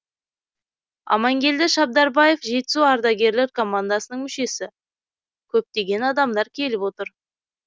амангелді шабдарбаев жетісу ардагерлер командасының мүшесі көптегенадамдар келіп отыр